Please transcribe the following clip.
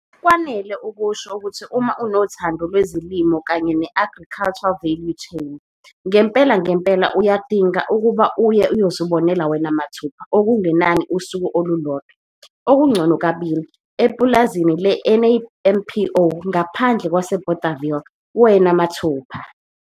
Kwanele ukusho ukuthi uma unothando lwezolimo kanye ne-agricultural value chain, ngempela ngenpela uyadinga ukuba uye uyozibonela wena mathupha okungenani usuku olulodwa, okungcono kabili! Epulazini le-NAMPO ngaphandle kwaseBothaville wena mathupha!